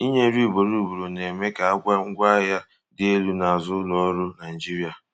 inye nri ugboro ugboro na-eme ka àgwà ngwaahịa dị elu na azụ ụlọ ọrụ Naijiria.